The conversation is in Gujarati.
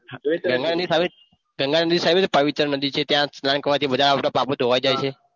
ગંગ નદી સારી છે ગંગા નદી સારી છે પવિત્ર છે પવિત્ર નદી છે ત્યાં સ્નાન કરવાથી બધા આપણા પાપો ધોવાઈ જાય છે.